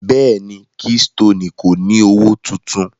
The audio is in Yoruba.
Bẹ́ẹ̀ni, Keystoni kò ni ọwọ́ tuntun.